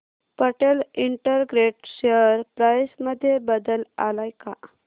Patel integrated share price मध्ये बदल आलाय का